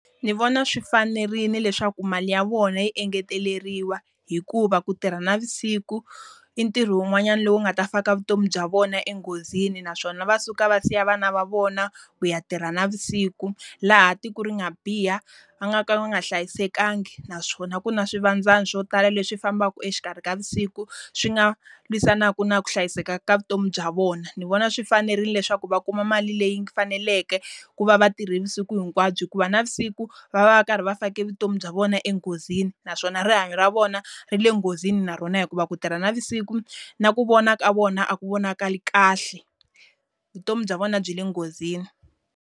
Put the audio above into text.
Ndzi vona swi fanerile leswaku mali ya vona yi engeteleriwa hikuva ku tirha navusiku, i ntirho wun'wanyana lowu nga ta fika vutomi bya vona enghozini naswona va suka va siya vana va vona ku ya tirha navusiku. Laha tiko ri nga biha, va nga ka va nga hlayisekangi naswona ku na swivandzani swo tala leswi fambaka exikarhi ka vusiku swi nga lwisanaka na ku hlayiseka ka vutomi bya vona. Ndzi vona swi fanerile leswaku va kuma mali leyi faneleke ku va va tirhe vusiku hinkwabyo. Hikuva navusiku, va va va karhi va fake vutomi bya vona enghozini naswona rihanyo ra vona, ri le nghozini na rona hikuva ku tirha navusiku na ku vona ka vona a ku vonakali kahle. vutomi bya vona byi le nghozini.